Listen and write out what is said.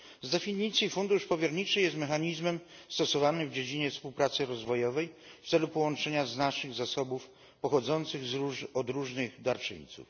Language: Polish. Z definicji fundusz powierniczy jest mechanizmem stosowanym w dziedzinie współpracy rozwojowej w celu połączenia znacznych zasobów pochodzących od różnych darczyńców.